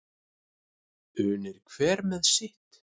Unir hver með sitt.